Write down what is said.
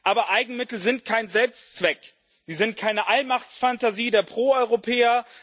Aber Eigenmittel sind kein Selbstzweck, sie sind keine Allmachtsfantasie der Proeuropäer.